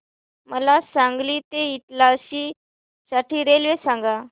मला सांगली ते इटारसी साठी रेल्वे सांगा